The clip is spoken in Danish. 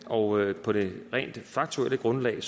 og på det rent faktuelle grundlag